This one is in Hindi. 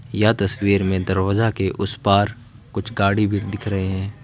यह तस्वीर में दरवाजा के उस पार कुछ गाड़ी भी दिख रहे हैं।